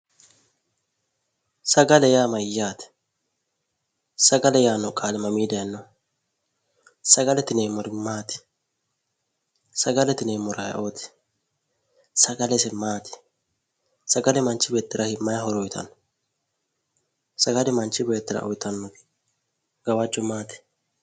Sagale yaa mayyaate? sagale yaanno qaali mamii daayinoho, sagalete yineemmori maati? sagalete yineemmori ayeooti? sagale ise maati, sagale manchi beettira maayi horo uuyiitanno? sagale manchi beettira uuyiitannobgawajjo maati?